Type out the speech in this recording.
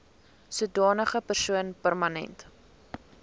sodanige persoon permanent